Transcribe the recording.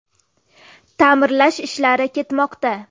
Ta’mirlash ishlari ketmoqda.